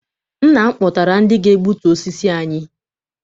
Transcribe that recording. Nna m kpọtara ndị ga-egbutu osisi anyị.